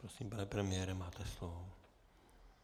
Prosím, pane premiére, máte slovo.